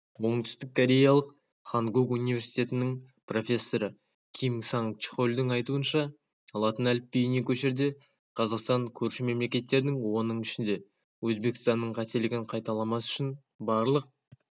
оңтүстіккореялық хангук университетінің профессоры ким санг чхольдің айтуынша латын әліпбиіне көшерде қазақстан көрші мемлекеттердің оның ішінде өзбекстанның қателігін қайталамас үшін барлық